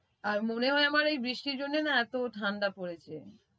আর মনে হয় আমার এই বৃষ্টির জন্যে না এত ঠাণ্ডা পরেছে।